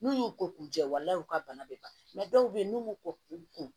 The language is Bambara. N'u y'u ko k'u jɛ wala wala u ka bana bɛ ban dɔw bɛ yen n'u y'u ko k'u kun